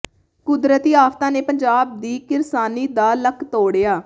ਕੁਦਰਤੀ ਆਫ਼ਤਾਂ ਨੇ ਪੰਜਾਬ ਦੀ ਕਿਰਸਾਨੀ ਦਾ ਲੱਕ ਤੋੜਿਆ